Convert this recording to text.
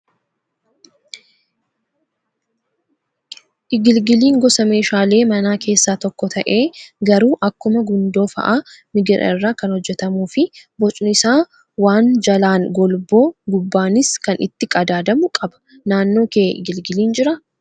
Igilgiliin gosa meeshaalee manaa keessaa tokko ta'ee garuu akkuma gundoo fa'aa migira irraa kan hojjatamuu fi bocni isaa waan jalaan golboo gubbaanis waan itti qadaadamu qaba. Naannoo kee igilgiliin jiraa?